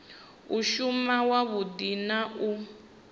u shuma wavhudi na u